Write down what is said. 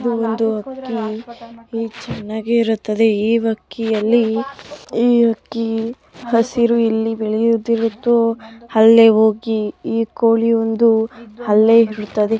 ಇದು ಒಂದು ಹಕ್ಕಿ ಚೆನ್ನಾಗಿ ಇರುತ್ತದೆ. ಈ ಹಕ್ಕಿಯಲ್ಲಿ ಈ ಹಕ್ಕಿ ಹಸಿರು ಇಲ್ಲಿ ಬೆಳೆಯುದಿರುವುದು ಹಳ್ಳಿ ಹೋಗಿ ಈ ಕೋಳಿಯೊಂದು ಹಲ್ಲೆ ಹಿಡಿಯುತ್ತದೆ.